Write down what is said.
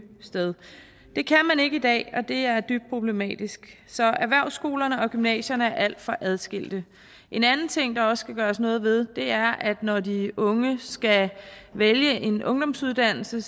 sted det kan man ikke i dag og det er dybt problematisk så erhvervsskolerne og gymnasierne er alt for adskilte en anden ting der også skal gøres noget ved er at når de unge skal vælge en ungdomsuddannelse